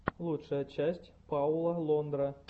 лучшая часть пауло лондра